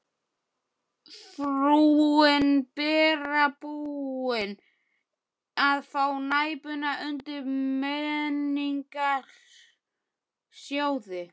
Frúin Bera búin að fá Næpuna undan Menningarsjóði.